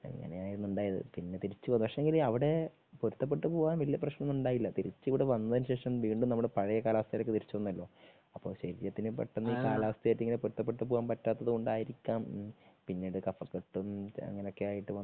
അങ്ങനെ ആയിരുന്നു ഉണ്ടായത്. പിന്നെ തിരിച്ചു വന്നു. പക്ഷേ എങ്കില് അവിടെ പൊരുത്ത പെട്ട് പോകാൻ വലിയ പ്രശ്നമൊന്നും ഉണ്ടായില്ല. തിരിച്ച് ഇവിടെ വന്നതിന് ശേഷം വീണ്ടും നമ്മുടെ പഴയ കാലാവസ്ഥയിലേക്ക് തിരിച്ചു വന്നല്ലോ അപ്പോ ശരീരത്തിന് പെട്ടെന്ന് ഈ കാലാവസ്ഥയുമായിട്ട് ഇങ്ങനെ പൊരുത്തപ്പെട്ടുപോകാൻ പറ്റാത്തത് കൊണ്ടായിരിക്കാം പിന്നീട് കഫ കെട്ടും അങ്ങനെ ഒക്കെ ആയിട്ട്